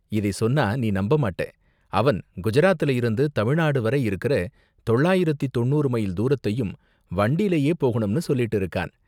இதை சொன்னா நீ நம்ப மாட்ட, அவன் குஜராத்ல இருந்து தமிழ்நாடு வரை இருக்குற தொள்ளாயிரத்து தொண்ணூறு மைல் தூரத்தையும் வண்டிலயே போகணும்னு சொல்லிட்டு இருக்கான்.